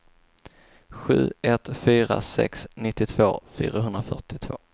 sju ett fyra sex nittiotvå fyrahundrafyrtiotvå